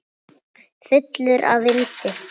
Fullur af vindi.